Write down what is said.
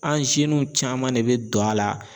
An caman de bɛ don a la